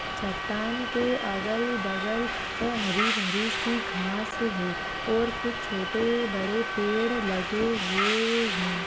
चट्टान के अगल-बगल हरी-भरी सी घास है और कुछ छोटे-बड़े पेड़ लगे हुए है।